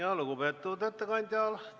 Aitäh, lugupeetud ettekandja!